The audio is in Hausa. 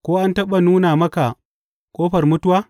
Ko an taɓa nuna maka ƙofar mutuwa?